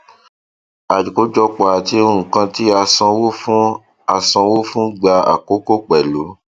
àkójọpọ àti nkan tí a sanwó fún a sanwó fún gbà àkókò pẹlú